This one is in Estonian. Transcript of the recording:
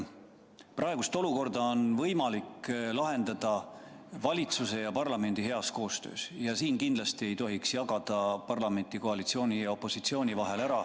Praegust olukorda on võimalik lahendada valitsuse ja parlamendi heas koostöös ja siin kindlasti ei tohiks jagada parlamenti koalitsiooniks ja opositsiooniks.